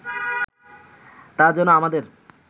তা যেন আমাদের